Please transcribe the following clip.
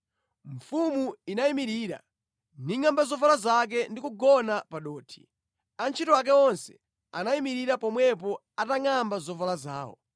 Mfumu inayimirira, ningʼamba zovala zake ndi kugona pa dothi. Antchito ake onse anayimirira pomwepo atangʼamba zovala zawo.